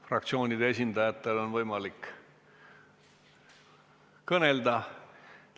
Fraktsioonide esindajatel on võimalik kõnelda.